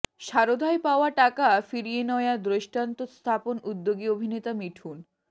সারদায় পাওয়া টাকা ফিরিয়ে নয়া দৃষ্টান্ত স্থাপনে উদ্যোগী অভিনেতা মিঠুন